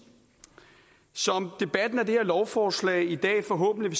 som debatten om det her lovforslag i dag forhåbentlig